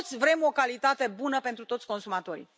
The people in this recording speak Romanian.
Toți vrem o calitate bună pentru toți consumatorii.